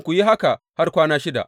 Ku yi haka har kwana shida.